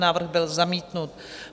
Návrh byl zamítnut.